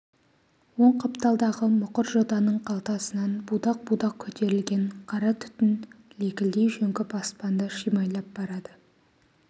оң қапталдағы мұқыр жотаның қалқасынан будақ-будақ көтерілген қара түтін лекілдей жөңкіп аспанды шимайлап барады